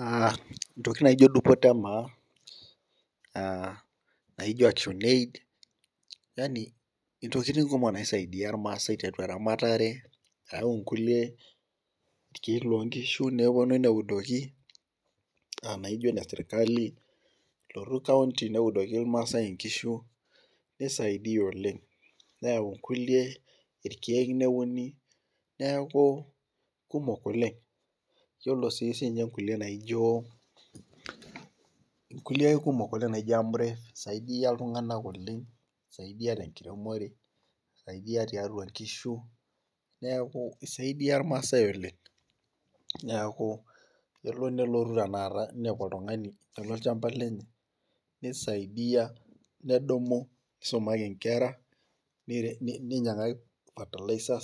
Aa intokitin naijo dupoto emaa, aa naijo action aid yaani, intokitin kumok naisaidia irmaasae teramatare ok nkulie tokitin loo nkishu, nepuonu neudoki. naijo ine sirkali, nelotu kaunti neudoki irmaasae nkishu. nisaidia oleng. neyau irkulie irkeek neuni neeku kuumok oleng. iyiolo sii ninche nkulie naijo , nkulie kumok oleng naijo Amref isaidia irkumok oleng iltunganak oleng, isaidia te nkiiremore. eisaidia tiatua nkishu. neeku isaidia irmaasae oleng. neeku elo nelotu tenakata ninepu oltungani etii olchampa lenye, nisaidia nedumu, nisumaki nkera. ninyiang'aki fertilizer